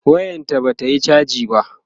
wayan ta Bata Yi chaji ba